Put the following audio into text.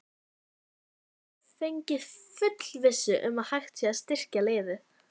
Hefurðu fengið fullvissu um að hægt sé að styrkja liðið?